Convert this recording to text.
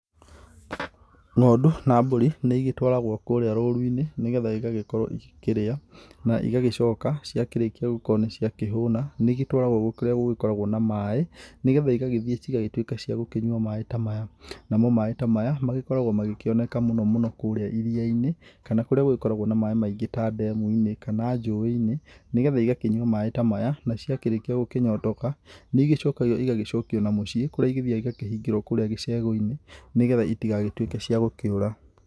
Ng'ondu na mbũri nĩigĩtwaragwo kũrĩa rũruinĩ nĩgetha igagĩkorwo ĩkĩrĩa na igagĩcoka ciakĩrĩkia gũkorwo nĩciakĩhũna nĩigĩtwaragwo kũrĩa gũkoragwo na maĩ nĩgetha cigagĩthiĩ cigagĩtũĩka kũnyũa maĩ ta maya namo maĩ ta maĩ nĩmagĩkoragwo makĩoneka mũno mũno kũrĩa irĩainĩ kana kũrĩa gũgĩkoragwo na maĩ maingĩ ta demuinĩ kana jũĩinĩ nĩgetha igagĩkĩnywa maĩ ta maya na ciakĩrĩkia gũkĩnyotoka nĩigĩcokaga igagĩcokio na mũciĩ kũrĩa ithiaga ikahingĩrwa kũrĩa gĩcegũinĩ nĩgetha itigagĩtũĩke ciagĩkĩũra.